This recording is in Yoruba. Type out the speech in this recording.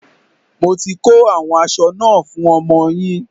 Mo ti ko àwọn aṣọ náà fún ọmọ yín.